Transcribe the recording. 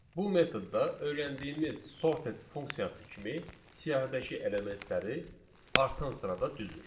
Bu metodda öyrəndiyimiz sorted funksiyası kimi siyahdakı elementləri artan sırada düzür.